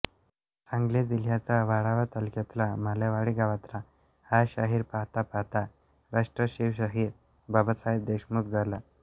सांगली जिल्ह्याच्या वाळवा तालुक्यातला मालेवाडी गावातला हा शाहीर पाहता पाहता राष्ट्रशिवशाहीर बाबासाहेब देशमुख झाला